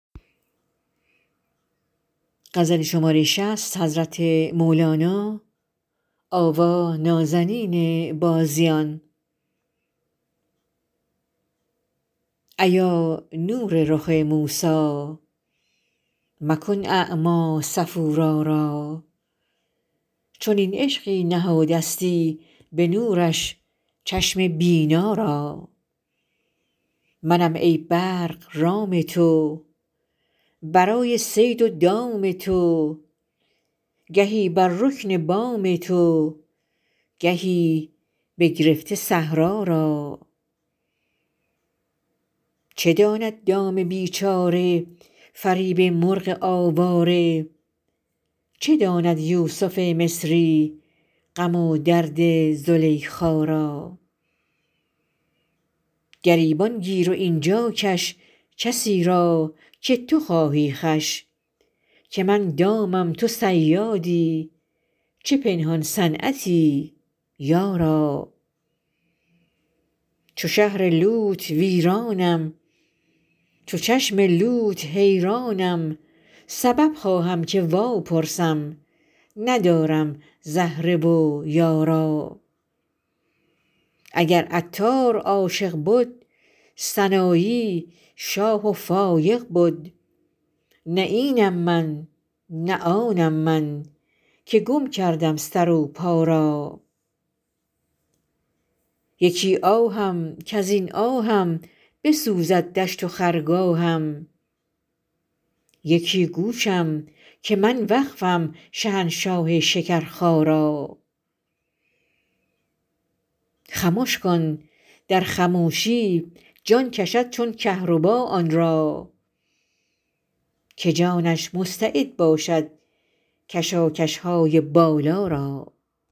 ایا نور رخ موسی مکن اعمی صفورا را چنین عشقی نهادستی به نورش چشم بینا را منم ای برق رام تو برای صید و دام تو گهی بر رکن بام تو گهی بگرفته صحرا را چه داند دام بیچاره فریب مرغ آواره چه داند یوسف مصری غم و درد زلیخا را گریبان گیر و این جا کش کسی را که تو خواهی خوش که من دامم تو صیادی چه پنهان صنعتی یارا چو شهر لوط ویرانم چو چشم لوط حیرانم سبب خواهم که واپرسم ندارم زهره و یارا اگر عطار عاشق بد سنایی شاه و فایق بد نه اینم من نه آنم من که گم کردم سر و پا را یکی آهم کز این آهم بسوزد دشت و خرگاهم یکی گوشم که من وقفم شهنشاه شکرخا را خمش کن در خموشی جان کشد چون کهربا آن را که جانش مستعد باشد کشاکش های بالا را